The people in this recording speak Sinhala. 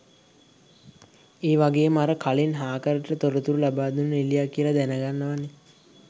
ඒ වගේම අර කලින් හාකර්ට තොරතුරු ලබාදුන්නේ නිළියක් කියලා දැනගන්නවනේ